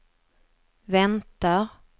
väntar